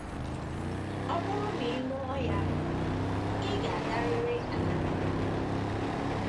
“ Ọ bụrụ na ị lụọ ya, ị ga - agarịrị agarịrị mkpọrọ. ”